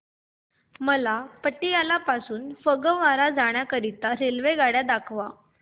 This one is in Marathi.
मला पटियाला पासून ते फगवारा पर्यंत जाण्या करीता आगगाड्या दाखवा